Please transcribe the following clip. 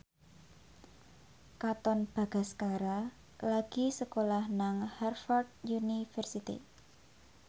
Katon Bagaskara lagi sekolah nang Harvard university